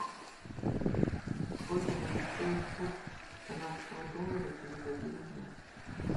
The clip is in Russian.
сколько будет стоить курс канадского доллара через один дня